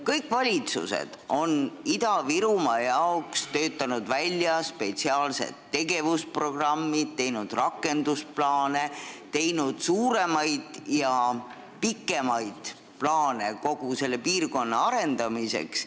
Kõik valitsused on Ida-Virumaa jaoks töötanud välja spetsiaalsed tegevusprogrammid, teinud rakendusplaane, teinud suuremaid ja pikemaid plaane kogu selle piirkonna arendamiseks.